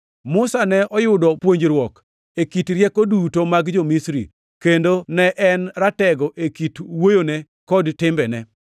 Musa ne oyudo puonjruok e kit rieko duto mag jo-Misri, kendo ne en ratego e kit wuoyone kod timbene.